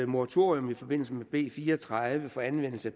moratorium i forbindelse med b fire og tredive for anvendelse